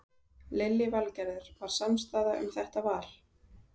Lillý Valgerður: Var samstaða um þetta val?